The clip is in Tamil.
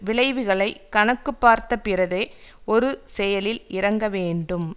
விளைவுகளை கணக்கு பார்த்த பிறதே ஒரு செயலில் இறங்க வேண்டும்